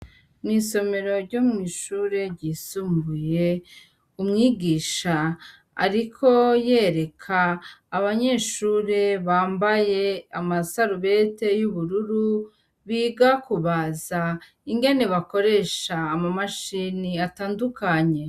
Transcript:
Mw'isomero ryo mw'ishure ryisumbuye umwigisha, ariko yereka abanyeshure bambaye amasarubete y'ubururu biga kubaza ingene bakoresha ama mashini atandukanye.